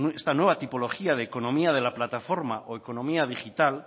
esta nueva tipología de economía de la plataforma o economía digital